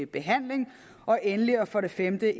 behandling endelig og for det femte